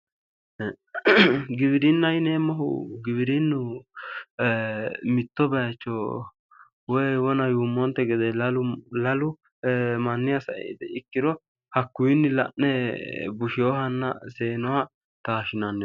Giwirinnaho yineemmohu giwirinnu mitto baycho woyi wona yuummonte gede lalu manniha sae itiha ikkiro hakuyinnii la'ne busheyohanna seenoha taashshinanniho